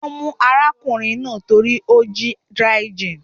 Wọ́n mú arákùnrin náà torí ó jí dry gin.